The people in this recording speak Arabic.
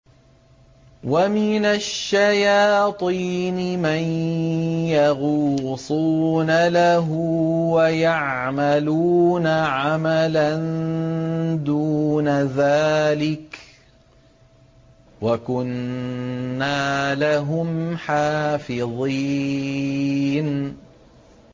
وَمِنَ الشَّيَاطِينِ مَن يَغُوصُونَ لَهُ وَيَعْمَلُونَ عَمَلًا دُونَ ذَٰلِكَ ۖ وَكُنَّا لَهُمْ حَافِظِينَ